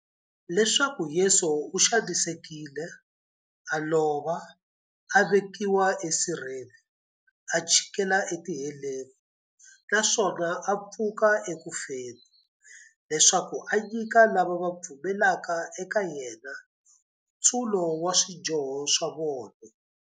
Leswaku Yesu u xanisekile, a lova, a vekiwa esirheni, a chikela etiheleni, naswona a pfuka eku feni, leswaku a nyika lava va pfumelaka eka yena, nkutsulo wa swidyoho swa vona.